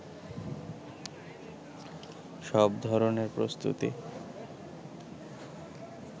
সব ধরনের প্রস্তুতি